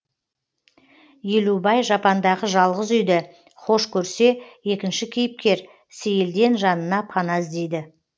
елубай жапандағы жалғыз үйді хош көрсе екінші кейіпкер сейілден жанына пана іздейді